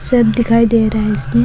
सब दिखाई दे रहा है इसमें।